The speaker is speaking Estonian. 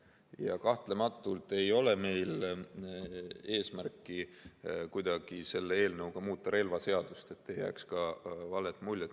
Ja kahtlematult ei ole meil eesmärki kuidagi selle eelnõuga muuta relvaseadust – ütlen, et ei jääks valet muljet.